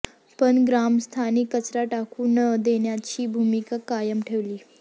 पण ग्रामस्थांनी कचरा टाकू न देण्याची भूमिका कायम ठेवली